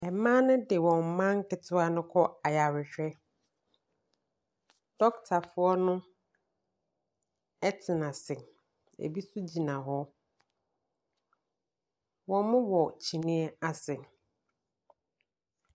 Mmaa ne de wɔn mma nketewa no kɔ ayarehwɛ, dɔketafoɔ no tena ase, bi nso gyina hɔ, wɔwɔ kyineɛ ase.